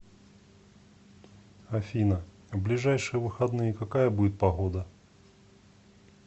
афина в ближайшие выходные какая будет погода